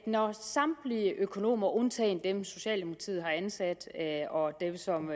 når samtlige økonomer undtagen dem socialdemokratiet har ansat og dem som